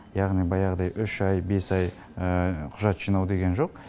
яғни баяғыдай үш ай бес ай құжат жинау деген жоқ